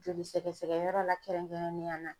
Joli sɛgɛsɛgɛ yɔrɔ la kɛrɛnkɛrɛnnenya na.